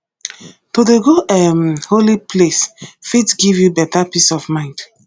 to dey go um holy place fit give you beta peace of mind